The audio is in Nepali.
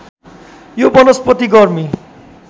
यो वनस्पति गर्मी